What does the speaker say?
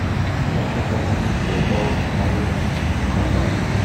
я хочу отменить свою бронь на ужин в кафе